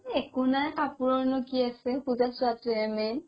একো নাই কাপোৰৰনো কি আছে পুজা চোৱাটো হে main